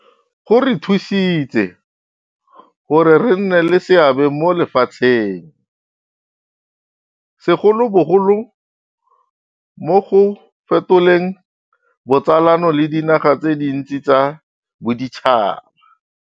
Go re thusitse gore re nne le seabe mo lefatsheng, segolobogolo mo go fetoleng botsalano le dinaga tse dintsi tsa boditšhaba.